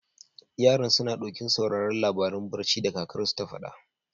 Yaran, suna ɗokin sauraren labaran barci da kakarsu ta faɗa.